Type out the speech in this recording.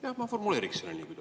Jah, ma formuleeriks selle niimoodi.